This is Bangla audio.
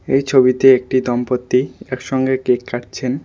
এই ছবিতে একটি দম্পত্তি একসঙ্গে কেক কাটছেন।